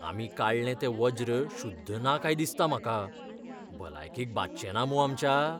आमी काडलें तें वज्र शुद्ध ना काय दिसता म्हाका. भलायकेक बादचेंना मूं आमच्या?